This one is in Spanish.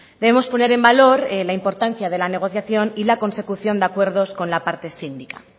debemos poner en valor la importancia de la negociación y la consecución de acuerdos con la parte sindical